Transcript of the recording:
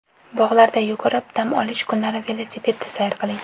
Bog‘larda yugurib, dam olish kunlari velosipedda sayr qiling.